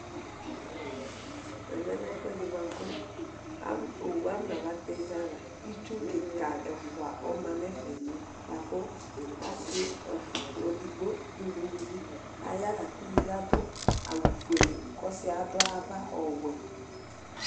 Ɛmɛlɛ ɛfʋɛdi bʋakʋ oxʋ akɔnzba tɛ ɛzawla kika ɛfʋa ɔmanʋ ɛfɛ lakʋ Ɔsi bedgbo dʋnʋ ʋlʋvi aya lakʋ lakʋ ʋlʋvi adʋ awʋ fuele kʋ ɔsɩ yɛ adʋ ava ɔwɛ